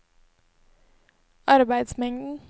arbeidsmengden